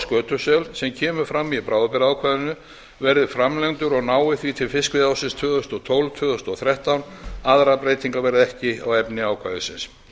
skötusel sem kemur fram í bráðabirgðaákvæðinu verði framlengdur og nái því til fiskveiðiársins tvö þúsund og tólf til tvö þúsund og þrettán aðrar breytingar verða ekki á efni ákvæðisins